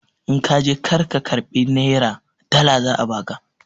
In ka je kar ka karɓi nera, dala za a ba ka!